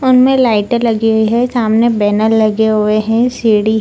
उनमे लाइटे लगी हुई है सामने बैनर लगे हुए हैं सीडी --